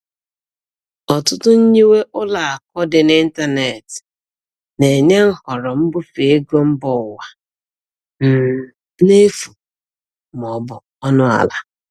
Ọtụtụ nyiwe ụlọakụ dị n'ịntanetị na-enye nhọrọ mbufe ego mba ụwa um n'efu ma ọ bụ ọnụ ala.